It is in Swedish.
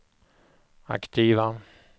aktiva